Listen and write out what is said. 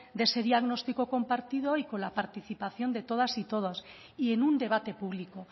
de ese diagnóstico compartido y con la participación de todas y todos y en un debate público